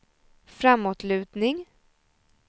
framåtlutning